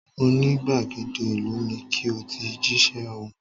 Mo ní gbàgede ìlú ni ki o ti jíṣẹ́ ọ̀hún